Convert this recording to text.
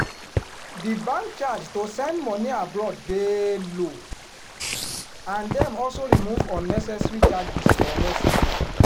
di bank charge to send money abroad dey low and dem also remove unnecessary charges for message